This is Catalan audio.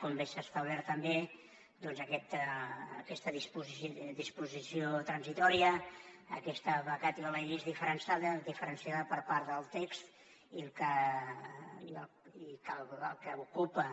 com bé s’ha establert també doncs aquesta disposició transitòria aquesta vacatio legis diferenciada per part del text i el que ocupa